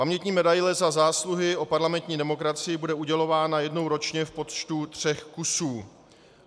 Pamětní medaile Za zásluhy o parlamentní demokracii bude udělována jednou ročně v počtu tří kusů.